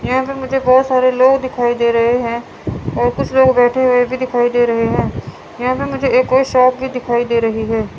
यहां से मुझे बहुत सारे लोग दिखाई दे रहे हैं और कुछ लोग बैठे हुए भी दिखाई दे रहे हैं यहां मुझे एक कोई शॉप भी दिखाई दे रही है।